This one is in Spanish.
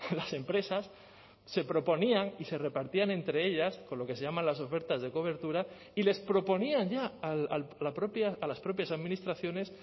las empresas se proponían y se repartían entre ellas con lo que se llaman las ofertas de cobertura y les proponían ya a la propia a las propias administraciones